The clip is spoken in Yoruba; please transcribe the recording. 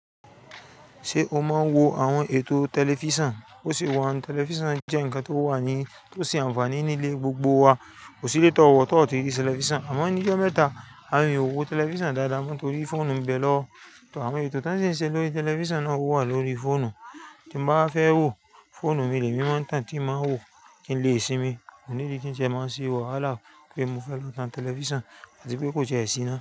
Ṣé o máa ń wo àwọn ètò tẹlifíṣàn? Bo ṣe wà un, tẹlifíṣàn jẹ́ ǹkan tó wà ní, tó se àǹfààní nílé gbogbo wa. Kò sí lé tọ́ wọ̀ tó ọ̀ tí ì ri tẹlifíṣàn, àmọ́ ní' jọ́ mẹ́ta, awon eeyan o wo tẹlifíṣàn dáadáa mọ́ torí fóònù mi bẹ̀ lọwo Tọ̀ àwọ́n ètò to si ń ṣe lórí tẹlifíṣàn náà o wà lórí fóònù. Ti n bá wa fẹ́ wò, fóònù mi lèmi maa n tán tí màá wò, kí n lè sinmi. Ko need i kí n jẹ máa ṣe wàhalaá pé mo fẹ́ lọ tan tẹlifíṣàn, àti pé kò ti e sí iná.